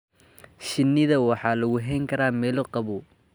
Shinida waxaa lagu hayn karaa meelo qabow.